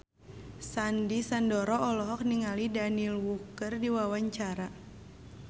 Sandy Sandoro olohok ningali Daniel Wu keur diwawancara